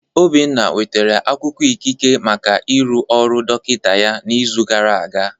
Obinna nwetara akwụkwọ ikike maka ịrụ ọrụ dọkịta ya n'izu gara aga.